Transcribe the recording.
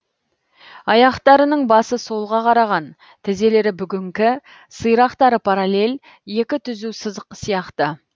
аяқтарының басы солға қараған тізелері бүгіңкі сирақтары параллель екі түзу сызық сияқты